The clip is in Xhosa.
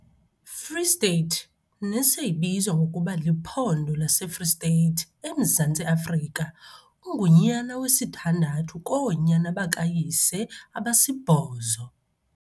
Free State, neseyibizwa ngokuba liphondo laseFree State, emZantsi Africa, ungunyana wesithandathu koonyana bakayise abasibhozo.